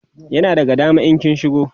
yana daga dama in kin shigo